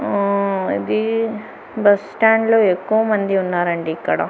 ఉమ్ ఇది బస్టాండ్ లో ఎక్కువమంది ఉన్నారండి ఇక్కడ.